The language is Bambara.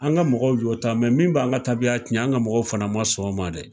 An ka mɔgɔw y'o ta mɛ min b'an ka taabiya tiɲɛ an ka mɔgɔw fana ma sɔn o ma dɛ.